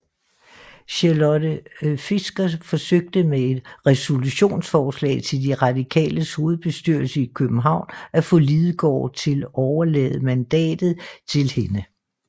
Charlotte Fischer forsøgte med et resolutionsforslag til de Radikales hovedbestyrelse i København at få Lidegaard til overlade mandatet til hende